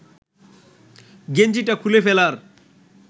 গেঞ্জিটা খুলে ফেলার